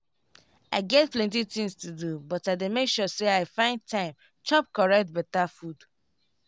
i get plenty tinz to do but i dey make sure say i find time chop correct beta food.